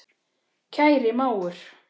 Kæri mágur.